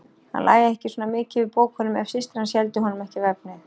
Hann lægi ekki svona mikið yfir bókunum ef systir hans héldi honum ekki við efnið.